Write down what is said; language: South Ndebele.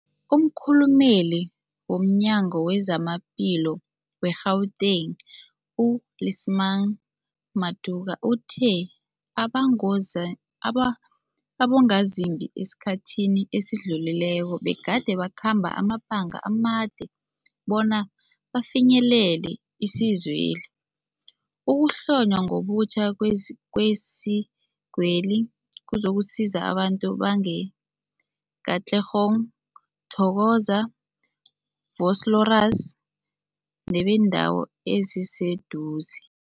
Umkhulumeli womNyango weZamaphilo we-Gauteng, u-Lesemang Matuka uthe abangoze aba abongazimbi esikhathini esidlulileko begade bakhamba amabanga amade bona bafinyelele isizweli. Ukuhlonywa ngobutjha kwezi kwezikweli kuzokusiza abantu be-Katlehong, Thokoza, Vosloorus nebeendawo eziseduze.